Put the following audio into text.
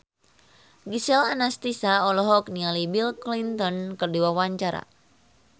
Gisel Anastasia olohok ningali Bill Clinton keur diwawancara